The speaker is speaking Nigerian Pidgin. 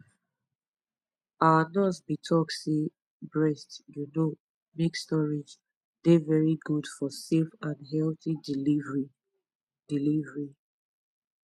our nurse been talk say breast you know milk storage dey very good for safe and healthy delivery delivery